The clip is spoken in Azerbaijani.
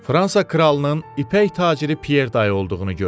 Fransa kralının ipək taciri Pier dey olduğunu gördü.